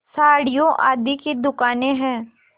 साड़ियों आदि की दुकानें हैं